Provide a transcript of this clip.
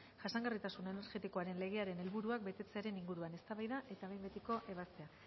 jasangarritasuna energetikoaren legearen helburuak betetzearen inguruan eztabaida eta behin betiko ebaztea